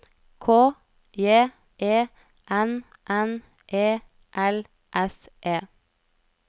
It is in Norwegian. K J E N N E L S E